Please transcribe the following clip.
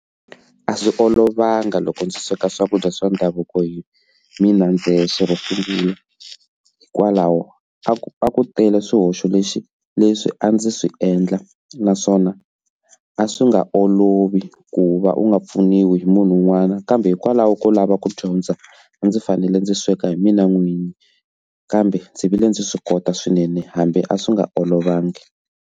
A swi olovanga loko ndzi sweka swakudya swa ndhavuko hi mina ndzexe hikwalaho ka ku va ku tele swihoxo lexi leswi a ndzi swi endla naswona a a swi nga olovi ku va u nga pfuniwi hi munhu un'wana kambe hikwalaho ko lava ku dyondza ndzi fanele ndzi sweka hi mina n'winyi kambe ndzi vile ndzi swi kota swinene hambi a swi nga olovangi.